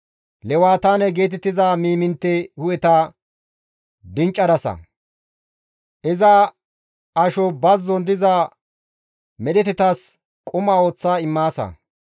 Lewataane geetettiza miimintte hu7eta dinccadasa; iza asho bazzon diza medhetatas quma ooththa immaasa .